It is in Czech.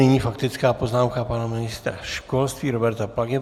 Nyní faktická poznámka pana ministra školství Roberta Plagy.